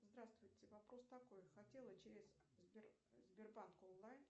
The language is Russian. здравствуйте вопрос такой хотела через сбербанк онлайн